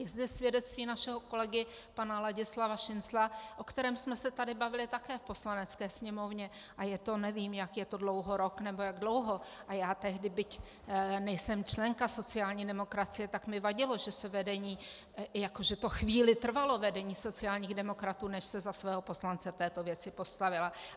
Je zde svědectví našeho kolegy pana Ladislava Šincla, o kterém jsme se tady bavili také v Poslanecké sněmovně, a je to, nevím, jak je to dlouho, rok, nebo jak dlouho, a já tehdy, byť nejsem členka sociální demokracie, tak mi vadilo, že se vedení, jako že to chvíli trvalo vedení sociálních demokratů, než se za svého poslance v této věci postavilo.